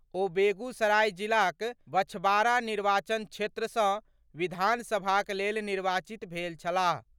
ओ बेगूसराय जिलाक बछवाड़ा निर्वाचन क्षेत्र सँ विधानसभाक लेल निर्वाचित भेल छलाह।